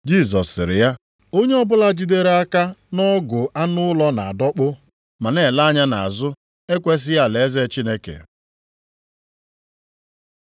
Jisọs sịrị ya, “Onye ọbụla jidere aka nʼọgụ anụ ụlọ na-adọkpụ ma na-ele anya nʼazụ ekwesighị alaeze Chineke.”